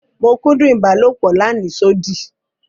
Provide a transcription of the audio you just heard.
Mo kúndún ibàlọpò làníṣòdí.